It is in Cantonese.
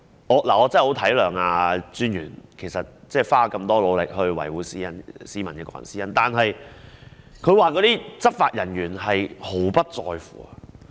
我真的十分體諒專員花了這麼大的努力，維護市民的個人私隱，但執法人員卻毫不在乎。